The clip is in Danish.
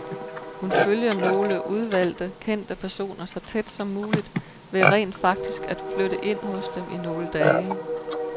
Hun følger nogle udvalgte kendte personer så tæt som muligt ved rent faktisk at flytte ind hos dem i nogle dage.